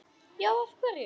Já, af hverju?